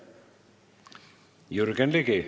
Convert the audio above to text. Jürgen Ligi.